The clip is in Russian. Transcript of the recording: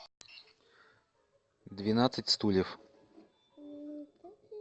двенадцать стульев